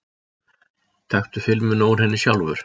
Taktu filmuna úr henni sjálfur!